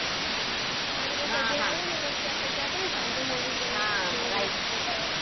મારી બે cousin આય્વીને ત્યારે આપને ગયા તા પછી લેત આયાતા.